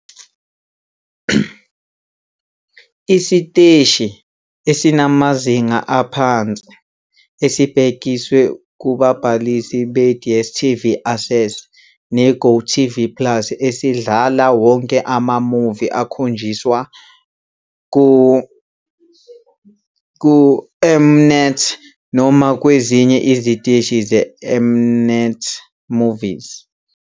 Isiteshi esinamazinga aphansi esibhekiswe kubabhalisi be-DStv Access ne-GOtv Plus esidlala wonke ama-movie akhonjiswa kuM-Net noma kwezinye iziteshi ze-M-Net Movies.